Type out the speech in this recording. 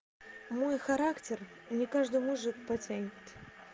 мой характер не каждый мужик потянет